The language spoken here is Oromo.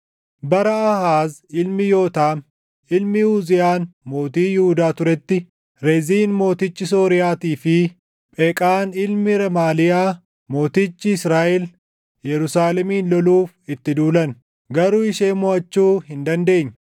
Bara Aahaaz ilmi Yootaam, ilmi Uziyaan Mootii Yihuudaa turetti, Reziin mootichi Sooriyaatii fi Pheqaan ilmi Remaaliyaa mootichi Israaʼel Yerusaalemiin loluuf itti duulan; garuu ishee moʼachuu hin dandeenye.